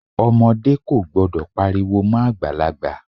Ọmọdé kò gbọdọ̀ pariwo mọ́ Àgbàlagbà.